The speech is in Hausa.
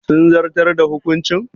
Sun zartar da hukuncin?